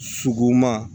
Sogoma